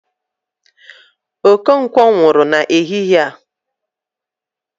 Okonkwo nwụrụ n'ehihe a